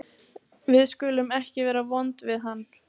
Við skulum ekki vera vond við hann.